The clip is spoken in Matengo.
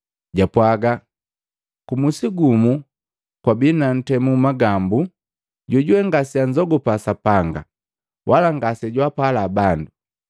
Jwapwaaga, “Kumusi gumu kwabii na ntemu magambu, jojuwe ngaseanzogupa Sapanga wala ngasejwaapala bandu.